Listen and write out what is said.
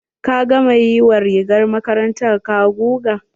Ka gama yi wa rigar makarantar ka guga?